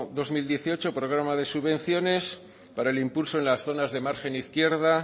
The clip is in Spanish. dos mil dieciocho programa de subvenciones para el impulso en las zonas de margen izquierda